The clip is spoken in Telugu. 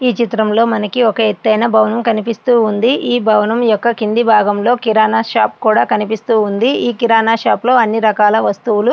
ఈ చిత్రంలో మనకి ఒక ఎత్తైన భవనము కనిపిస్తూ ఉంది. ఈ భవనం యొక్క కింది భాగంలో కిరాణా షాప్ కూడా కనిపిస్తుంది. ఈ కిరాణా షాపులో అన్ని రకాల వస్తువులు--